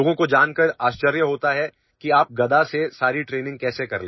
People are surprised to know how you do all the training with a mace